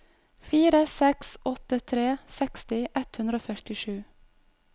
fire seks åtte tre seksti ett hundre og førtisju